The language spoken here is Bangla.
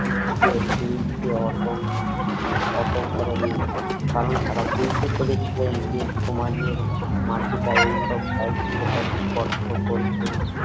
বিত্তের বিরুদ্ধে অটক এত করেননি কারণ তারা বুঝতে পেরেছিলেন যে সমাজের মাতৃকায় এইসব সাহিত্য ব্যাপারে স্পষ্ট করতেন